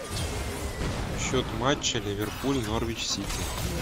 счет матча ливерпуль норвич сити